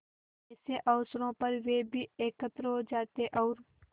ऐसे अवसरों पर वे भी एकत्र हो जाते और